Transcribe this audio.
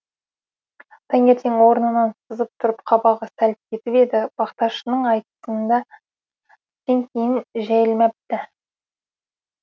тәңертең орнынан сызып тұрып қабағы сәл кетіп еді бақташының айтысында түстен кейін жәйілмәпті